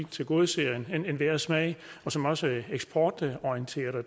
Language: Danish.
tilgodeser enhver smag og som også er eksportorienteret og